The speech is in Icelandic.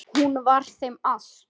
Hún var þeim allt.